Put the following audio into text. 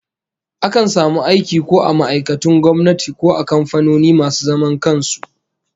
Akan samu aiki ko a ma'aikatun gwamnati ko a kamfanoni masu zaman kan su